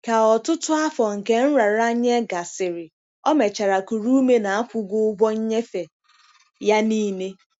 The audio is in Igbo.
ka ọtụtụ afọ nke nraranye gasịrị, O mechara kuru ume na akwụgo ụgwọ nnyefe ya nile.